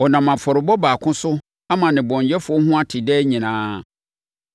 Ɔnam afɔrebɔ baako so ama nnebɔneyɛfoɔ ho ate daa nyinaa.